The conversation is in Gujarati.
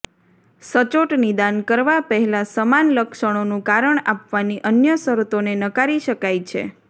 સચોટ નિદાન કરવા પહેલાં સમાન લક્ષણોનું કારણ આપવાની અન્ય શરતોને નકારી શકાય છે